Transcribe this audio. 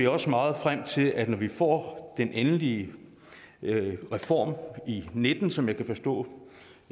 også meget frem til at vi når vi får den endelige reform i og nitten som jeg kan forstå